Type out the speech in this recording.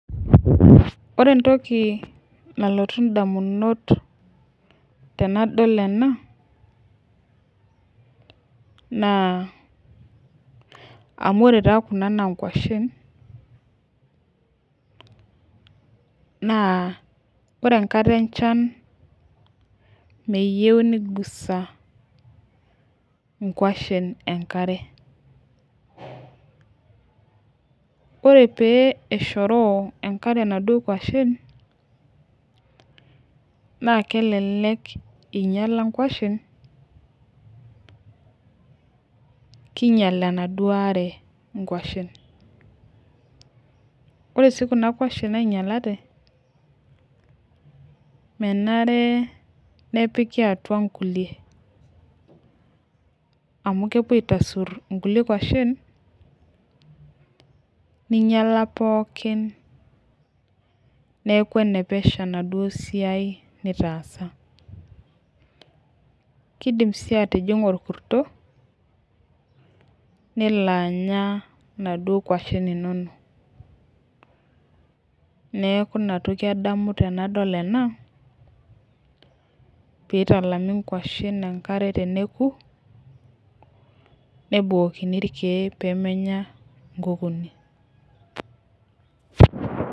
Ore entoki nalotu ndamunot tenadol ena naa amu ore taa kuna naa nkuashen naa ore enkata enchan meyeu nigusa nkuashen enkare. Ore pee eshoroo enkare inaduo kuashen naa kelelek inyala nkuashen, kiinyal enaduo are inkuashen. Ore sii kuna kuashen nainyalate menare nepiki atua nkulie amu kepuo aitasur inkulie kuashen ninyala pookin neeku ene pesho enaduo siai nitaasa. Kiidim sii atijing'a orkurto nelo anya inaduo kuashen inonok, neeku ina toki adamu tenadol ena piitalami nkuashen enkare teneeku, nebukokini irkeek pee meenya nkukuuni.